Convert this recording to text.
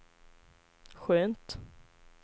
skönt